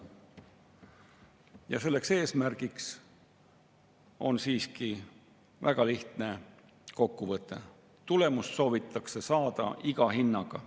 Ja selleks eesmärgiks on siiski väga lihtne kokkuvõte: tulemust soovitakse saada iga hinnaga.